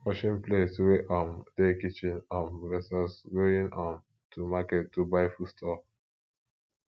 washing plates wey um dey kitchen um vs going um to market to buy food stuff